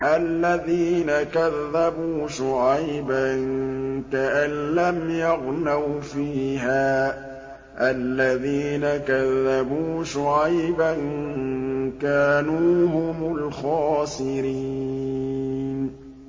الَّذِينَ كَذَّبُوا شُعَيْبًا كَأَن لَّمْ يَغْنَوْا فِيهَا ۚ الَّذِينَ كَذَّبُوا شُعَيْبًا كَانُوا هُمُ الْخَاسِرِينَ